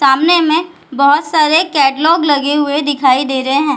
सामने में बहुत सारे कैटलॉग लगे हुए दिखाई दे रहे हैं ।